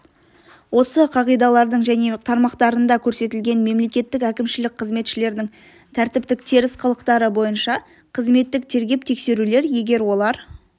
осы қағидалардың және тармақтарында көрсетілген мемлекеттік әкімшілік қызметшілердің тәртіптік теріс қылықтары бойынша қызметтік тергеп-тексерулер егер олар